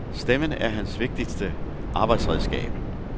Stemmen er hans vigtigste arbejdsredskab.